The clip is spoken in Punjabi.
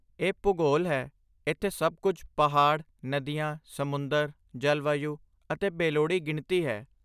ਇਹ ਭੂਗੋਲ ਹੈ! ਇੱਥੇ ਸਭ ਕੁਝ ਪਹਾੜ, ਨਦੀਆਂ, ਸਮੁੰਦਰ, ਜਲਵਾਯੂ ਅਤੇ ਬੇਲੋੜੀ ਗਿਣਤੀ ਹੈ।